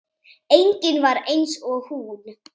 Engin var eins og hún.